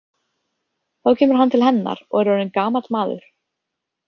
Þá kemur hann til hennar og er orðinn gamall maður.